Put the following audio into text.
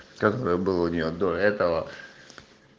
которая была у нее до этого